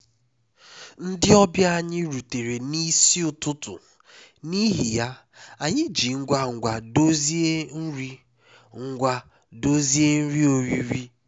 ndị ọbịa anyị rutere n'isi ụtụtụ n'ihi ya anyị ji ngwa ngwa dozie nri ngwa dozie nri oriri